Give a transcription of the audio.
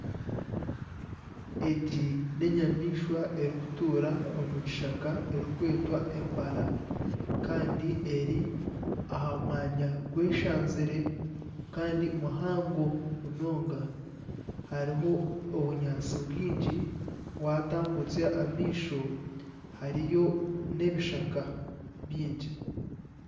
Egi n'enyamaishwa erikutuura omu kishaka erikwetwa empara kandi eri aha mwanya gweshanzire kandi muhango munonga hariho obunyaatsi bwingi waatambutsya amaisho hariyo n'ebishaka baingi